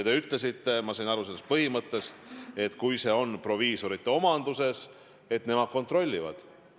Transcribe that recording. Ma sain teist aru nii, et kui apteek on proviisorite omanduses, siis nemad kontrollivad.